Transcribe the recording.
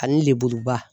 Ani lebuba